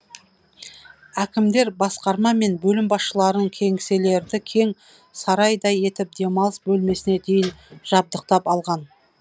әкімдер басқарма мен бөлім басшылары кеңселерді кең сарайдай етіп демалыс бөлмесіне дейін жабдықтап алған